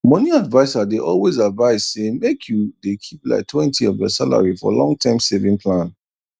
moni adviser dey always advise say make you dey keep liketwentyof ur salary for long term saving plan